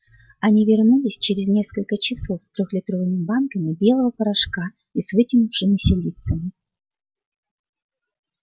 они вернулись через несколько часов с трёхлитровыми банками белого порошка и с вытянувшимися лицами